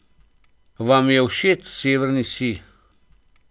Vam je všeč severni sij?